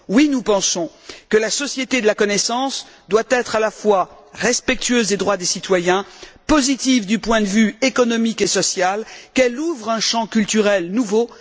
Oui, nous pensons que la société de la connaissance doit être à la fois respectueuse des droits des citoyens, positive du point de vue économique et social, qu'elle ouvre un champ culturel nouveau.